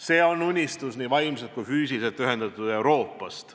See on unistus vaimselt ja füüsiliselt ühendatud Euroopast.